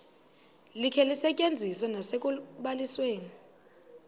likhe lisetyenziswe nasekubalisweni